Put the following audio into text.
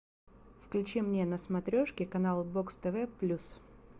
включи мне на смотрешке канал бокс тв плюс